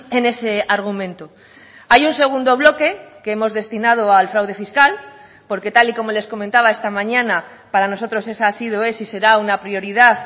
en ese argumento hay un segundo bloque que hemos destinado al fraude fiscal porque tal y como les comentaba esta mañana para nosotros esa ha sido es y será una prioridad